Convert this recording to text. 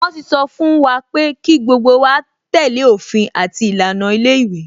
Wọn ti sọ fún wa pé kí gbogbo wa tẹ́lẹ̀ òfin àti ìlànà ilé ìwé